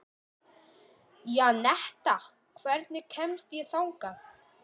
Janetta, hvernig kemst ég þangað?